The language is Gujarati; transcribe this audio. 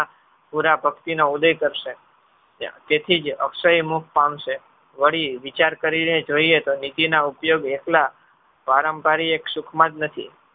પુરા પઁક્તિનો ઉદેય કરશે તેથી જ અક્ષય મુખ પામશે વળી વિચાર કરીને જોઇએ તો નીતિ ના ઉપયોગ એટલા ભારંભારી એક સુખમાં જ નથી.